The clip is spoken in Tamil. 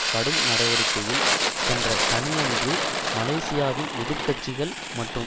கடும் நடவடிக்கையில் சென்ற சனியன்று மலேசியாவின் எதிர் கட்சிகள் மற்றும்